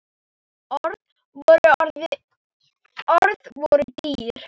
Orð voru dýr.